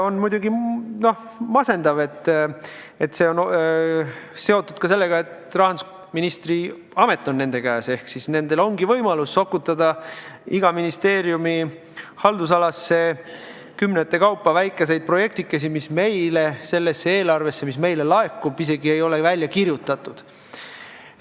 On muidugi masendav, et see on seotud ka sellega, et rahandusministri portfell on nende käes ehk siis nendel on võimalus sokutada iga ministeeriumi haldusalasse kümnete kaupa väikeseid projektikesi, mis selles eelarves, mis meile laekub, isegi ei ole välja kirjutatud.